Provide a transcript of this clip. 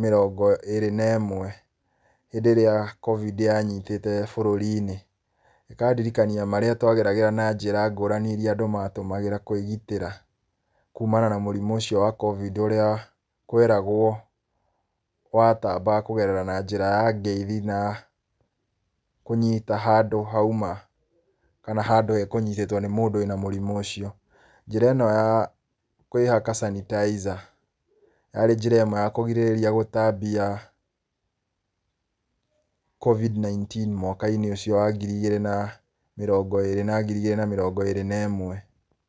mĩrongo ĩrĩ na ĩmwe, hĩndĩ ĩrĩa Covid yanyitĩte bũrũri-inĩ. Ĩkandirikania marĩa twageragĩra na njĩra ngũrani irĩa andũ matũmagĩra kwĩgitĩra kumana na mũrimũ ũcio wa Covid ũrĩa kweragwo watambaga kũgerera na njĩra ya ngeithi, na kũnyita handũ hauma, kana handũ hekũnyitĩtwo nĩ mũndũ wĩna mũrimũ ũcio. Njĩra ĩno ya kwĩhaka sanitizer yarĩ njĩra ĩmwe ya kũgirĩrĩria gũtambia Covid 19 mwaka-inĩ ũcio wa ngiri igĩrĩ na mĩrongo ĩrĩ na ngiri igĩrĩ na mĩrongo ĩrĩ na ĩmwe.